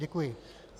Děkuji.